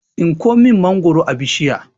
Tsinko min mangwaro a bishiya